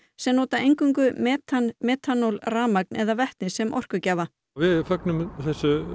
sem nota eingöngu metan metanól rafmagn eða vetni sem orkugjafa við fögnum þessu